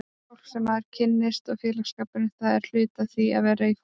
Fólkið sem maður kynnist og félagsskapurinn, það er hluti af því að vera í fótbolta.